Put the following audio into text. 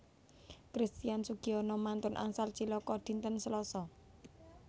Christian Sugiono mantun angsal cilaka dinten Seloso